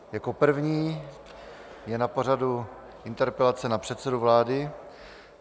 Jako první je na pořadu interpelace na předsedu vlády.